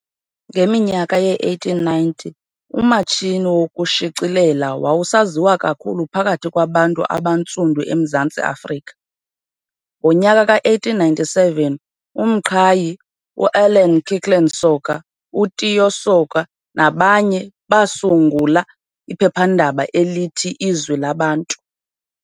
Ngeminyaka yee-1890, umatshini wokushicilela wawusaziwa kakhulu phakathi kwabantu abaNtsundu eMzantsi Afrika . Ngonyaka ka1897 uMqhayi, u-Allan Kirkland Soga, uTiyo Soga nabanye basungula iphephandaba elithi Izwi Labantu .